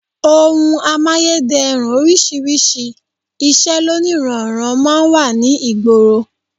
Ohun amáyédẹrùn oríṣiríṣi, iṣẹ́ lóníranran máa ń wà ní ìgboro